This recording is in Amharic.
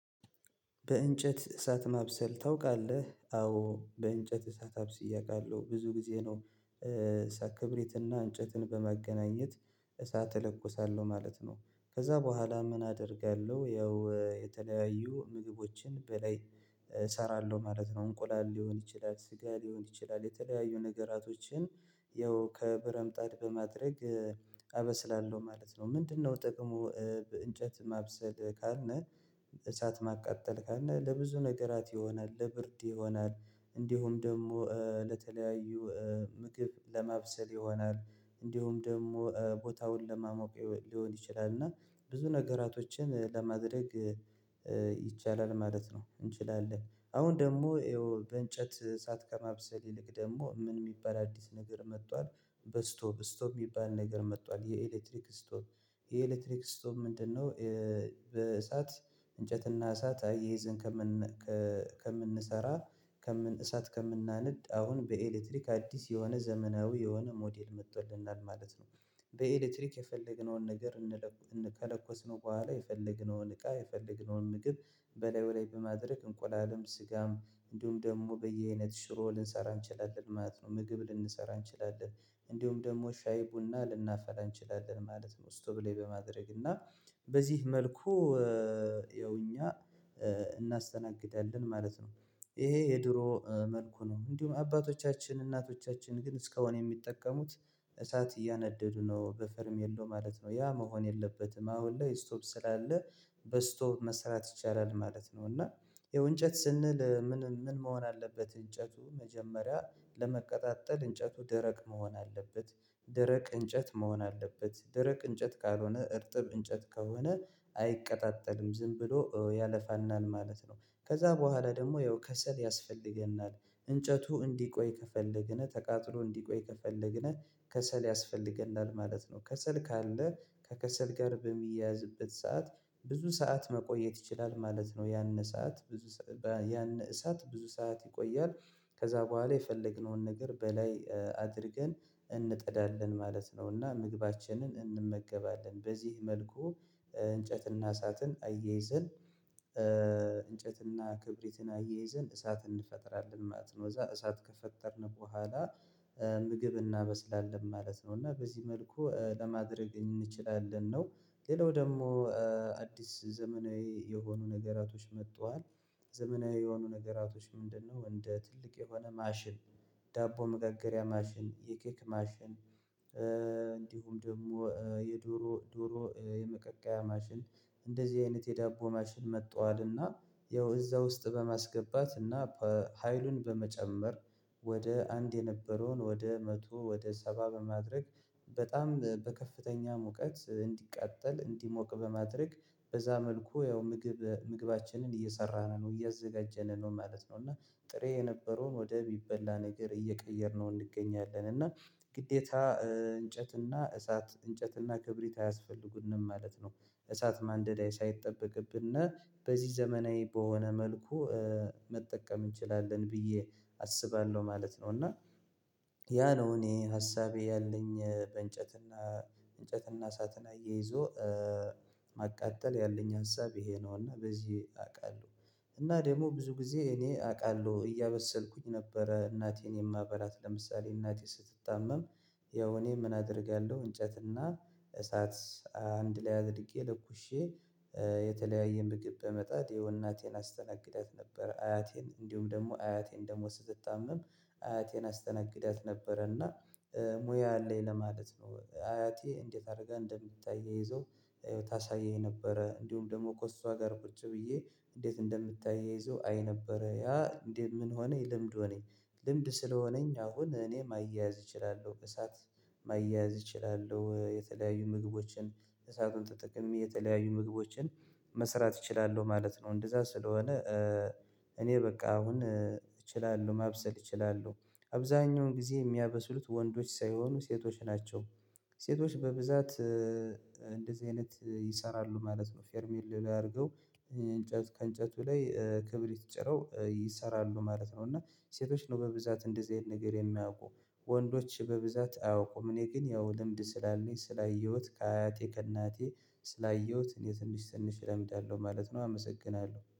በእንጨት እሳት ማብሰል ታውቃለህ አዎ በእንጨት እሳት አብስዬ አውቃለሁ ብዙ ጊዜ ነው። እሳት ክብሪት እና እንጨትን በማገናኘት እሳት እለኮሳለሁ ማለት ነው። ከዛ በኋላ ምን አደርጋለሁ? ያው የተለያዩ ምግቦችን በላይ እሰራለሁ ማለት ነው። እንቁላል ሊሆን ይችላል ስጋ ሊሆን ይችላል የተለያዩ ነገራቶችን ያው ከብረምጣድ በማድረግ አበስላለሁ ማለት ነው። ምንድነው ጥቅሙ? በእንጨት ማብሰል ካልነህ እሳት ማቃጠል ካልነህ ለብዙ ነገራት ይሆናል ለብርድ ይሆናል። እንዲሁም ደግሞ ለተለያዩ ምግብ ለማብሰል ይሆናል። እንዲሁም ደግሞ ቦታውን ለማሞቅ ሊሆን ይችላል እና ብዙ ነገራቶችን ለማድረግ ይቻላል ማለት ነው። እንችላለን አሁን ደግሞ ይኸው በእንጨት እሳት ከማብሰል ይልቅ ደግሞ ምን የሚባል አዲስ ነገር መጥቷል። በስቶብ ስቶብ የሚባል ነገር መጥቷል የኤሌክትሪክ ስቶቭ የኤሌክትሪክ ስቶቭ ምንድነው? በእሳት እንጨት እና እሳት አያይዘን ከምን ከ ከምንሰራ ከምን እሳት ከምናነድ አሁን በኤሌክትሪክ አዲስ የሆነ ዘመናዊ የሆነ ሞዴል መጥቶልናል ማለት ነው። በኤሌክትሪክ የፈለግነውን ነገር እነለኩ እን ከለኮስነው በኋላ የፈለግነውን እቃ የፈለግነውን ምግብ በላይ በላይ በማድረግ እንቆላልም ስጋም እንዲሁም ደግሞ በየአይነት ሽሮ ልንሰራ እንችላለን ማለት ነው። ምግብ ልንሰራ እንችላለን እንደውም ደግሞ ሻይ ቡና ልናፈላ እንችላለን ማለት ነው። ስቶብ ሌይ በማድረግ እና በዚህ መልኩ ያው እኛ እናስተናግዳለን ማለት ነው። ይሄ የድሮ መልኩ ነው እንዲሁ አባቶቻችን እናቶቻችን ግን እስካሁን የሚጠቀሙት እሳት እያነደዱ ነው። በፈርም የለው ማለት ነው ያ መሆን የለበትም አሁን ላይ ስቶቭ ስላለ በስቶቭ መስራት ይቻላል ማለት ነው። እና ያው እንጨት ስንል ምን መሆን አለበት? እንጨቱ መጀመሪያ ለመቀጣጠል እንጨቱ ደረቅ መሆን አለበት። ደረቅ እንጨት መሆን አለበት ደረቅ እንጨት ካልሆነ እርጥብ እንጨት ከሆነ አይቀጣጠልም ዝም ብሎ ያለፋናል ማለት ነው። ከዛ በኋላ ደግሞ ያው ከሰል ያስፈልገናል እንጨቱ እንዲቆይ ከፈለግነ ተቃጥሎ እንዲቆይ ከፈለግነ ከሰል ያስፈልገናል ማለት ነው። ከሰል ካለ ከከሰል ጋር በሚያያዝበት ሰዓት ብዙ ሰዓት መቆየት ይችላል ማለት ነው። ያን ሰዓት ብዙ ያነ እሳት ብዙ ሰዓት ይቆያል። ከዛ በኋላ የፈለግነውን ነገር በላይ አድርገን እንጥዳለን ማለት ነው። እና ምግባችንን እንመገባለን በዚህ መልኩ እንጨት እና እሳትን አየይዘን እንጨትና ክብሪትን አያይዘን እሳት እንፈጠራለን ማለት ነው። እዛ እሳት ከፈጠርን በኋላ ምግብ እናበስላለን ማለት ነው። እና በዚህ መልኩ ለማድረግ እንችላለን ነው። ሌላው ደግሞ አዲስ ዘመናዊ የሆኑ ነገራቶች መጥተዋል። ዘመናዊ የሆኑ ነገራቶች ምንድነው? እንደ ትልቅ የሆነ ማሽን ዳቦ መጋገሪያ ማሽን የኬክ ማሽን እንዲሁም ደግሞ የዶሮ ዶሮ የመቀቀያ ማሽን እንደዚህ አይነት የዳቦ ማሽን መጥተዋል። እና ያው እዛ ውስጥ በማስገባት እና ሀይሉን በመጨመር ወደ አንድ የነበረውን ወደ መቶ ወደ ሰባ በማድረግ በጣም በከፍተኛ ሙቀት እንዲቃጠል እንዲሞቅ በማድረግ በዛ መልኩ ያው ምግብ ምግባችንን እየሰራን ነው እያዘጋጀን ነው ማለት ነው። እና ጥሬ የነበረውን ወደ እሚቢላ ነገር እየቀየርነው እንገኛለን እና ግዴታ እንጨት እና እሳት እንጨት እና ክብሪት አያስፈልጉንም ማለት ነው። እሳት ማንደድ ሳይጠበቅብነ በዚህ ዘመናዊ በሆነ መልኩ መጠቀም እንችላለን ብዬ አስባለሁ ማለት ነው። እና ያ ነው እኔ ሀሳቤ ያለኝ በእንጨትና እንጨትና እሳትና እየይዞ ማቃጠል ያለኝ ሀሳብ ይሄ ነውና በዚህ አቃለሁ። እና ደግሞ ብዙ ጊዜ እኔ አቃለሁ እያበሰልኩኝ ነበረ እናቴን የማበላት ለምሳሌ እናቴ ስትታመም። ያው እኔ ምን አደርጋለሁ እንጨትና እሳት አንድ ላይ አድርጌ ለኩሼ የተለያየ ምግብ በመጣድ የው እናቴን አስተናግዳት ነበር። አያቴን እንዲሁም ደግሞ አያቴን ደግሞ ስትታመም አያቴን አስተናግዳት ነበረ። እና ሙያ አለኝ ለማለት ነው። አያቴ እንዴት አርጋ እንደምታያይዘው ታሳየኝ ነበረ እንዲሁም ደግሞ ከእሷ ጋር ቁጭ ብዬ እንዴት እንደምታያይዘው አይ ነበረ ያ እንዴት ምን ሆነኝ ልምድ ሆነኝ። ልምድ ስለሆነኝ አሁን እኔ ማያያዝ እችላለሁ እሳት ማያያዝ እችላለሁ የተለያዩ ምግቦችን እሳትን ተጠቅሜ የተለያዩ ምግቦችን መስራት እችላለሁ ማለት ነው። እንደዛ ስለሆነ እኔ በቃ አሁን እችላለሁ ማብሰል እችላለሁ። አብዛኛውን ጊዜ የሚያበስሉት ወንዶች ሳይሆኑ ሴቶች ናቸው። ሴቶች በብዛት እንደዚህ አይነት ይሰራሉ ማለት ነው። ፌርሚል ላይ አድርገው እንጨት ከእንጨቱ ላይ ክብሪት ጭረው ይሰራሉ ማለት ነው። እና ሴቶች ነው በብዛት እንደዚህ አይነት ነገር የሚያውቁ። ወንዶች በብዛት አያውቁም እኔ ግን ያው ልምድ ስላለኝ ስላየሁት ከአቴ ከእናቴ ስላየሁት እኔ ትንሽ ትንሽ እለምዳለሁ ማለት ነው። አመሰግናለሁ